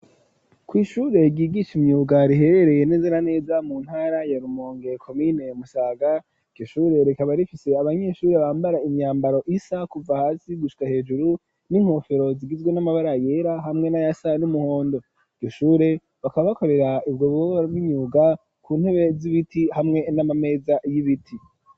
Kw'ishure ryigisha imyuga riherereye neze na neza mu ntara ya Rumonge komine Musaga iryo shure rikaba rifise abanyeshuri bambara imyambaro isa kuva hasi gushika hejuru n'inkofero zigizwe n'amabara yera hamwe n'ayasa n'umuhondo iryo shure bakaba bakorera ubwo bubabaro bw'inyuga ku ntebe z'ibiti hamwe n'amameza y'ibiti.